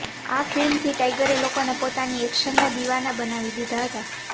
આ ફિલ્મથી ટાઇગરે લોકોને પોતાની એક્શનનાં દીવાના બનાવી દીધા હતા